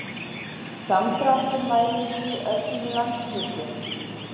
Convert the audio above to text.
Samdráttur mælist í öllum landshlutum